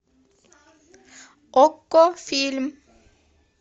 окко фильм